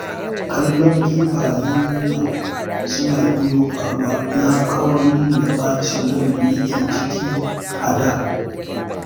Kallon kifayen nan suna iyo a ruwa ya kawar min da ɓacin ran da nake ciki a da